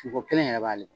Ko kelen yɛrɛ b'ale